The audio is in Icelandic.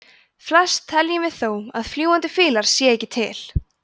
flest teljum við þó að fljúgandi fílar séu ekki til